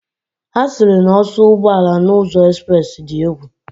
Ha siri na oso ugboala na uzo express di egwu.